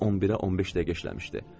Saat 11-ə 15 dəqiqə işləmişdi.